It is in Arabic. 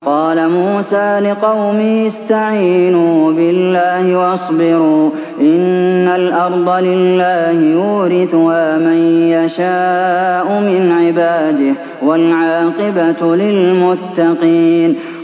قَالَ مُوسَىٰ لِقَوْمِهِ اسْتَعِينُوا بِاللَّهِ وَاصْبِرُوا ۖ إِنَّ الْأَرْضَ لِلَّهِ يُورِثُهَا مَن يَشَاءُ مِنْ عِبَادِهِ ۖ وَالْعَاقِبَةُ لِلْمُتَّقِينَ